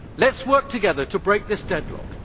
Let us work together to break this deadlock.